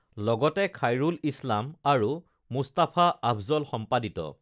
লগতে খাইৰুল ইছলাম আৰু মুস্তাফা আফজল সম্পাদিত